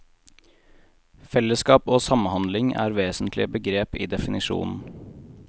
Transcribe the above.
Fellesskap og samhandling er vesentlige begrep i definisjonen.